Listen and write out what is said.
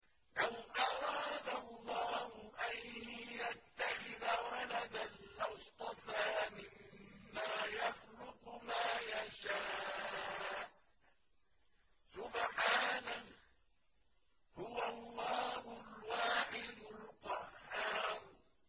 لَّوْ أَرَادَ اللَّهُ أَن يَتَّخِذَ وَلَدًا لَّاصْطَفَىٰ مِمَّا يَخْلُقُ مَا يَشَاءُ ۚ سُبْحَانَهُ ۖ هُوَ اللَّهُ الْوَاحِدُ الْقَهَّارُ